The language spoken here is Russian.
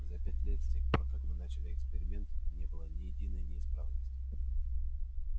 за пять лет с тех пор как мы начали эксперимент не было ни единой неисправности